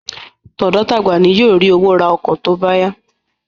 Tọ̀dọ́ tagba ni yóò ri owó ra tóbá yá